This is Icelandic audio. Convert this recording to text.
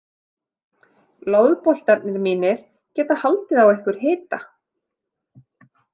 Loðboltarnir mínir geta haldið á ykkur hita.